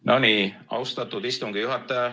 No nii, austatud istungi juhataja!